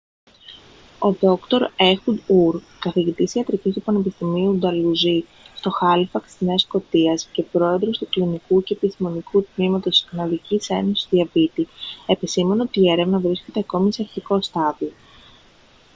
ο δρ έχουντ ουρ καθηγητής ιατρικής του πανεπιστημίου νταλουζί στο χάλιφαξ της νέας σκωτίας και πρόεδρος του κλινικού και επιστημονικού τμήματος της καναδικής ένωσης διαβήτη επεσήμανε ότι η έρευνα βρίσκεται ακόμη σε αρχικό στάδιο